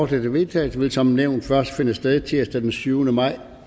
til vedtagelse vil som nævnt først finde sted tirsdag den syvende maj